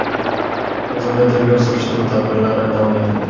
Hozirda tergov-surishtiruv tadbirlari davom etmoqda.